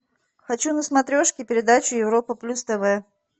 хочу на смотрешке передачу европа плюс тв